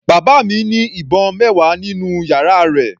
Bàbá mi ní ìbọn mẹwa nínú yàrá rẹ̀.